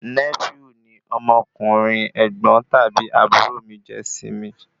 Nẹ́fíù ni ọmọkùnrin ẹ̀gbọ́n tàbí àbúrò mi jẹ́ sí mi